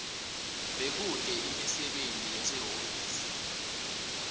bekute imisebenti yasehhovisi